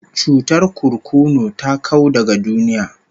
Cutar kurkunu ta kau daga duniya